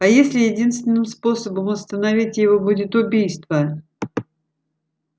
а если единственным способом остановить его будет убийство